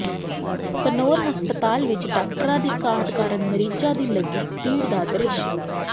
ਘਨੌਰ ਹਸਪਤਾਲ ਵਿੱਚ ਡਾਕਟਰਾਂ ਦੀ ਘਾਟ ਕਾਰਨ ਮਰੀਜ਼ਾਂ ਦੀ ਲੱਗੀ ਭੀੜ ਦਾ ਦ੍ਰਿਸ਼